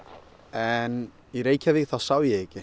en í Reykjavík þá sá ég ekki